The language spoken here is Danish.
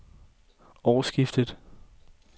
årsskiftet